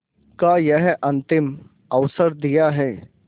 का यह अंतिम अवसर दिया है